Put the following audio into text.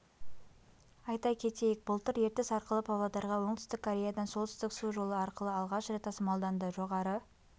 айта кетейік былтыр ертіс арқылы павлодарға оңтүстік кореядан солтүстік су жолы арқылы алғаш рет тасымалданды жоғары